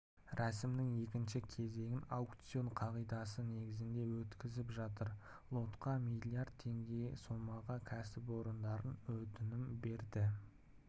рәсімнің екінші кезеңін аукцион қағидасы негізінде өткізіп жатыр лотқа млрд теңге сомаға кәсіпорын өтінім берді